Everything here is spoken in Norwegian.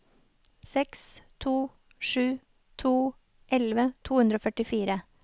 seks to sju to elleve to hundre og førtifire